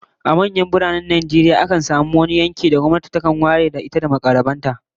A manyan biranen Najeriya, akan samu yankin da gwamnati takan ware don yin gine-ginen gwamnati da na mukarraban ta